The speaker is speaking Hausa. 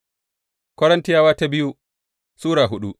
biyu Korintiyawa Sura hudu